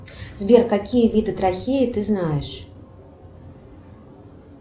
сбер какие виды трахеи ты знаешь